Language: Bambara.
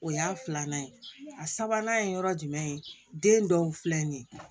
O y'a filanan ye a sabanan ye yɔrɔ jumɛn ye den dɔw filɛ nin ye